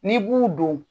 N'i b'u don